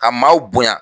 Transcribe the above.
Ka maaw bonya